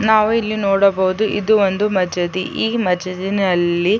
ನಾವು ಇಲ್ಲಿ ನೋಡಬಹುದು ಇದು ಒಂದು ಮಜದಿ ಈ ಮಜದಿನಲ್ಲಿ --